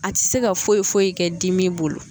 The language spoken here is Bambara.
A tɛ se ka foyi foyi ye kɛ dimi bolo